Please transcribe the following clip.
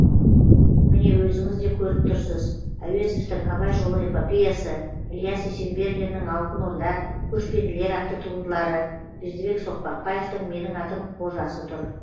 міне өзіңіз де көріп тұрсыз әуезовтің абай жолы эпопеясы ілияс есенберлиннің алтын орда көшпенділер атты туындылары бердібек соқпақбаевтың менің атым қожасы тұр